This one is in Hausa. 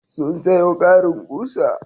Sun sayo ƙarin ƙusa.